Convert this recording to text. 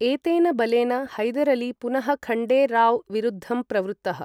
एतेन बलेन हैदर् अली पुनः खण्डे राव् विरुद्धं प्रवृत्तः।